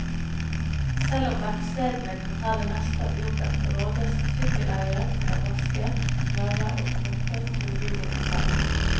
Selv om verkstedene kan ta det meste av jobben, rådes sykkeleiere til å vaske, smøre og pumpe tohjulingen selv.